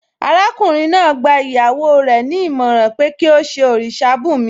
Arákùnrin náà gba ìyàwó rẹ̀ ní ìmọ̀ràn pé kí ó ṣe òrìṣà bùnmi